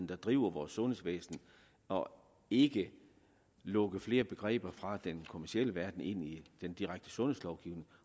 der driver vores sundhedsvæsen og ikke lukke flere begreber fra den kommercielle verden ind i den direkte sundhedslovgivning